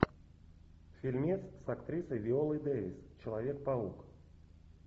фильмец с актрисой виолой дэвис человек паук